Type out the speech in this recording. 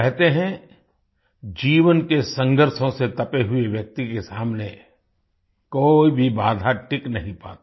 कहते हैं जीवन के संघर्षों से तपे हुए व्यक्ति के सामने कोई भी बाधा टिक नहीं पाती